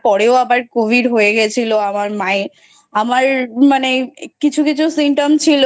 পরেও আবার Covid হয়ে গেছিলো আমার মাএর ।আমার মানে কিছু কিছু Symptom ছিল ।